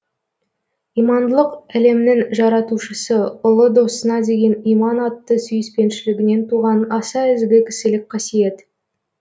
имандылық әлемнің жаратушысы ұлы досына деген иман атты сүйіспеншілігінен туған аса ізгі кісілік қасиет